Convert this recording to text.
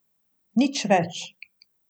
Nič več.